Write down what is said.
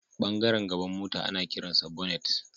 Ɓangaren gaban mota ana kiransa bonnet.